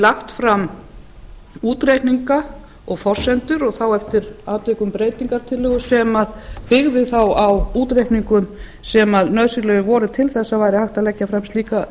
lagt fram útreikninga og forsendur og þá eftir atvikum breytingartillögur sem byggðu þá á útreikningum sem nauðsynlegar voru til þess að hægt væri að leggja fram slíka